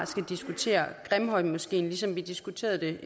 skal diskutere grimhøjmoskeen ligesom vi diskuterede den